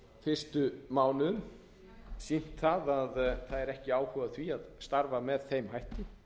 fyrstu mánuðum sýnt að það er ekki áhugi á því að starfa með þeim hætti